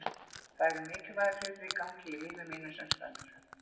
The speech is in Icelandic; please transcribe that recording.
Það eru mikilvægir hlutir í gangi í lífi mínu sem stendur.